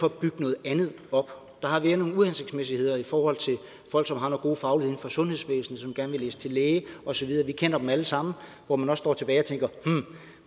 at bygge noget andet op der har været nogle uhensigtsmæssigheder i forhold til folk som har noget god faglighed inden for sundhedsvæsenet og vil læse til læge og så videre vi kender dem alle sammen hvor man står tilbage og tænker